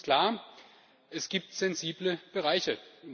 Für uns ist klar Es gibt sensible Bereiche.